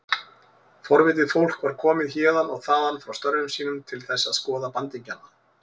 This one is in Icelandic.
Forvitið fólk var komið héðan og þaðan frá störfum sínum til þess að skoða bandingjana.